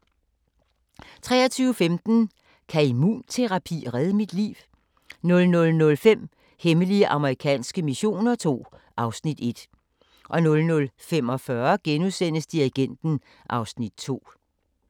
23:15: Kan immunterapi redde mit liv? 00:05: Hemmelige amerikanske missioner II (Afs. 1) 00:45: Dirigenten (Afs. 2)*